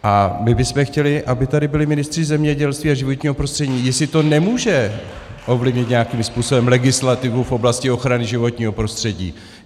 A my bychom chtěli, aby tady byli ministři zemědělství a životního prostředí - jestli to nemůže ovlivnit nějakým způsobem legislativu v oblasti ochrany životního prostředí.